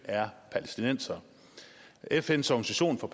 er palæstinensere fns organisation for